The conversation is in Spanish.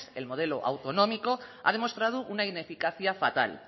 el modelo autonómico ha demostrado una ineficacia fatal